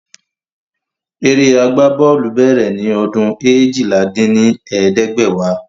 Eré agbá bọ́ọ̀lù bèrè ni ọdún eéjìlá dín ní ẹ̀ẹ́dẹ́gbẹ́wá